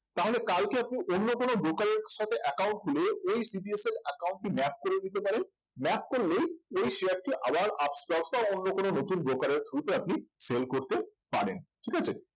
তাহলে কালকে আপনি অন্য কোনো broker সাথে account খুলে ওই CDSL account টি map করে নিতে পারেন map করলেই ওই share টি আবার আপস্টক্স বা অন্য কোন নতুন broker এর through তে আপনি sell করতে পারেন ঠিক আছে